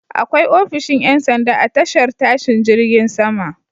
Akwai ofishin ƴansanda a tashar tashin jirgin sama.